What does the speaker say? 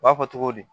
U b'a fɔ cogo di